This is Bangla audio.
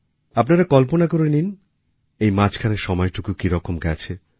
আপনারা কল্পনা করে নিন এই মাঝখানের সময়টুকু কীরকম গেছে